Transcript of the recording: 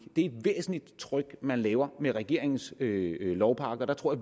er et væsentligt tryk man laver med regeringens lovpakke og der tror